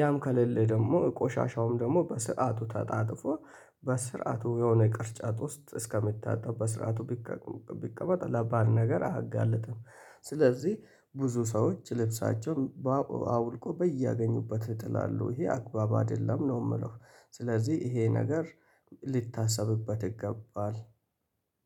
ያም ከሌለ ደግሞ ቆሻሻውም ደግሞ በስአቱ ተጣጥፎ በስርዓቱ የሆነ ቅርጫት ውስጥ እስከሚታጠብ በስርዓቱ ቢቀመጥ ለበአድ ነገር አያጋለጠም። ስለዚህ ብዙ ሰዎች ልብሳቸውን በአውልቆ በያገኙበት ይጥላሉ ይሄ አግባብ አይደለም ነው የምለው። ስለዚህ ይሄ ነገር ሊታሰብበት ይገባል